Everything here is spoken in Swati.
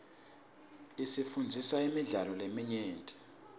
isifundzisa imidlalo leminyenti